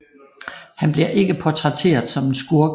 Han bliver ikke portrætteret som en skurk